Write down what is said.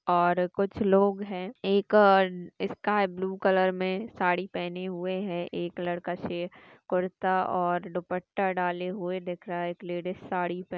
--और कुछ लोग है एक आ स्काई ब्लू कलर में साड़ी पहनी हुए है एक लड़का कुरता और दुपट्टा डाले हुए दिख रहा है और एक लेडीज साडी पहने--